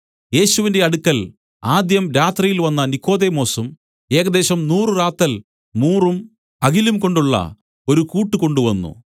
യേശുവിന്റെ അടുക്കൽ ആദ്യം രാത്രിയിൽ വന്ന നിക്കോദെമോസും ഏകദേശം നൂറു റാത്തൽ മൂറും അകിലും കൊണ്ടുള്ള ഒരു കൂട്ട് കൊണ്ടുവന്നു